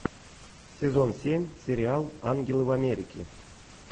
сезон семь сериал ангелы в америке